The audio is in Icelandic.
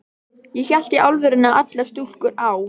Ég hélt í alvörunni að allar stúlkur á